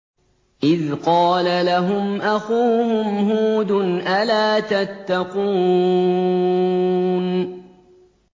إِذْ قَالَ لَهُمْ أَخُوهُمْ هُودٌ أَلَا تَتَّقُونَ